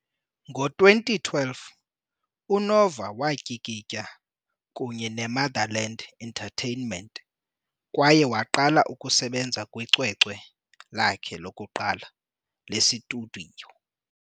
Ngo-2012, uNova watyikitya kunye neMuthaland Entertainment kwaye waqala ukusebenza kwicwecwe lakhe lokuqala lesitudiyo.